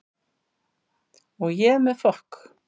Og ég með fokk